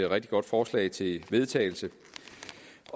rigtig godt forslag til vedtagelse